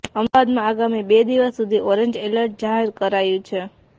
અમદાવાદમાં આગામી બે દિવસ સુધી ઓરેન્જ એલર્ટ જાહેર કરાયું છે